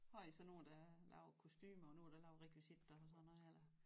Har I så nogen der laver kostumer og nogen der laver rekvisitter og sådan noget eller